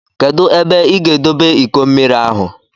Kedụ ebe ị ga-edobe iko mmiri ahụ?